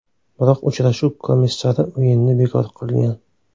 Biroq uchrashuv komissari o‘yinni bekor qilgan.